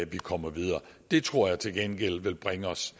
vi kommer videre det tror jeg til gengæld vil bringe os